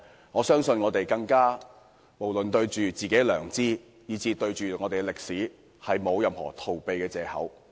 為了對得起自己的良知，以及自己的歷史，我們沒有任何逃避的借口。